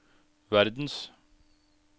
verdens